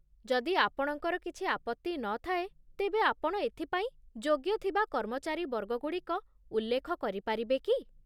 ଯଦି ଆପଣଙ୍କର କିଛି ଆପତ୍ତି ନ ଥାଏ, ତେବେ ଆପଣ ଏଥି ପାଇଁ ଯୋଗ୍ୟ ଥିବା କର୍ମଚାରୀ ବର୍ଗଗୁଡ଼ିକ ଉଲ୍ଲେଖ କରିପାରିବେ କି?